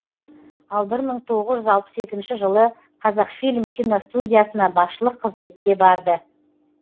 ал бір мың тоғыз жүз алпыс екінші жылы қазақфильм киностудиясына басшылық қызметке барды